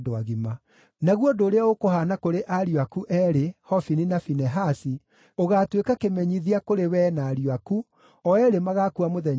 “ ‘Naguo ũndũ ũrĩa ũkũhaana kũrĩ ariũ aku eerĩ, Hofini na Finehasi, ũgaatuĩka kĩmenyithia kũrĩ wee na ariũ aku, o eerĩ magaakua mũthenya ũmwe.